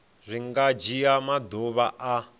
zwi nga dzhia maḓuvha a